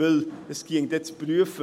Denn es wäre dann zu prüfen: